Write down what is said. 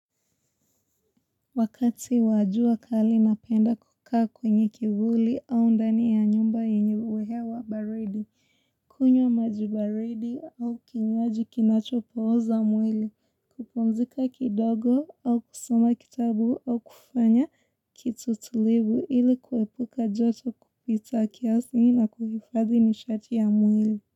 Wakati wa jua kali napenda kukaa kwenye kivuli au ndani ya nyumba yenyewe hewa baridi. Kunywa maji baridi au kinywaji kinacho pohoza mwili. Kupumzika kidogo au kusoma kitabu au kufanya kitu tulibu ili kuepuka joto kupita kiasi na kuhifadhi nishati ya mwili.